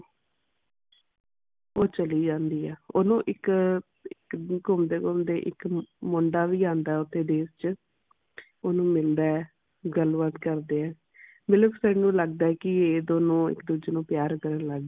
ਉਹ ਚਲੀ ਜਾਂਦੀ ਹੈ ਉਨੂੰ ਇਕ ਘੁੰਮਦੇ ਘੁੰਮਦੇ ਇਕ ਮੁੰਡਾ ਵੀ ਆਂਦਾ ਉਣੀ ਦੇਰ ਚ ਉਨੂੰ ਮਿਲਦਾ ਹੈ ਗੱਲ ਬਾਤ ਕਰਦੇ ਆ ਨੂੰ ਲੱਗਦਾ ਹੈ ਇਹ ਦੋਨੋ ਇਕ ਦੂੱਜੇ ਨੂੰ ਪਿਆਰ ਲੱਗ ਪਏ ਨੇ